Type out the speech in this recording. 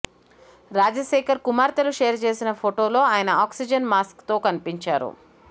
రాజశేఖర్ కుమార్తెలు షేర్ చేసిన ఫొటోలో ఆయన ఆక్సిజన్ మాస్క్తో కనిపించారు